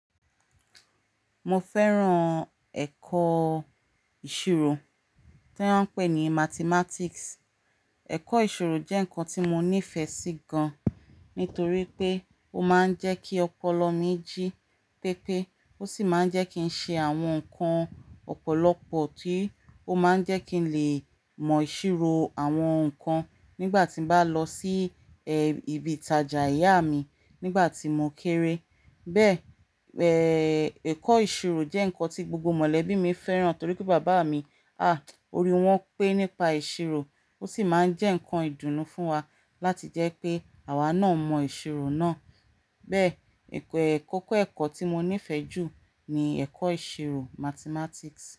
Mo fẹ́ràn ẹ̀kọ́ ìṣirò tí wọ́n ń pè ní Mathematics. Ẹ̀kọ́ ìṣirò jẹ́ nǹkan tí mo nífẹ̀ẹ́ sí gan-an nítorí pé ó máa ń jẹ́ kí ọpọlọ mí jí pépé, ó sì máa ń jẹ́ kí n ṣe àwọn nǹkan ọ̀pọ̀lọpọ̀ tí ó máa ń jẹ́ kí n lè mọ ìṣirò àwọn nǹkan nígbà tí bá lọ sí ẹ́ ibi ìtajà ìyá mi nígbà tí mo kéré. Bẹ́ẹ́ ẹ́, ẹ̀kọ́ ìṣirò jẹ́ nǹkan tí gbogbo mọ̀lẹ́bí mi fẹ́ràn torí pé bàbá mi, à, orí wọn pé nípa ìṣirò, ó sì máa ń jẹ́ nǹkan ìdùnnú fún wa láti jẹ́ pé àwa náà mọ ìṣirò náà. Bẹ́ẹ́, ìkọ̀-- ìkọ́kọ́ ẹ̀kọ́ tí mo nífẹ̀ẹ́ jù ni ẹ̀kọ́ ìṣirò Mathematics.